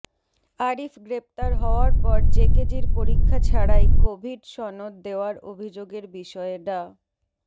আরিফ গ্রেপ্তার হওয়ার পর জেকেজির পরীক্ষা ছাড়াই কভিড সনদ দেওয়ার অভিযোগের বিষয়ে ডা